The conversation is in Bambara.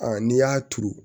n'i y'a turu